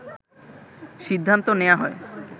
সিদ্ধান্ত নেয়া হয়